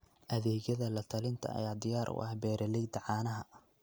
Adeegyada la-talinta ayaa diyaar u ah beeralayda caanaha.